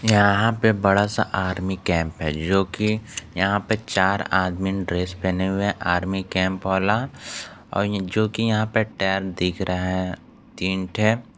यहां पे बड़ा सा आर्मी कैंप है जो कि यहां पे चार आदमी ड्रेस पहने हुए आर्मी कैंप वाला आउ जो कि यहां पे टैम देख रहा है तीन ठे --